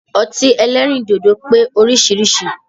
Ọtí ẹlẹ́rìndòdò pé oríṣiríṣi